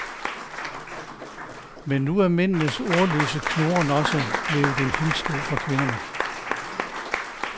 Men nu er mændenes ordløse knurren også blevet en hæmsko for kvinderne.